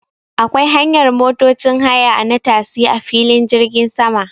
Akwai hanyar motocin haya na tasi a filin jirgin sama